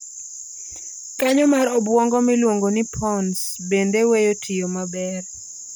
Kanyo mar obuongo miluongo ni pons bende weyo tiyo maber